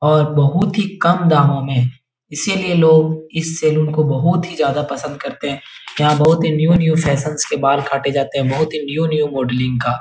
और बहुत ही कम दामो में इसीलिए लोग इस सलून को बोहोत ही ज्यादा पसंद करते हैं। यहाँ बोहोत न्यु न्यू फैसनस के बाल काटे जाते हैं बहोत ही न्यू न्यू मोडलिंग का --